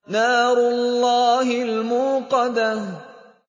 نَارُ اللَّهِ الْمُوقَدَةُ